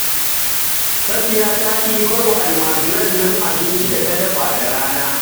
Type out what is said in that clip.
Safiya ta ɗibar wa almajirin nan abincin da ta dafa da rana